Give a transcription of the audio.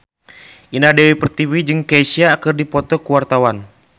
Indah Dewi Pertiwi jeung Kesha keur dipoto ku wartawan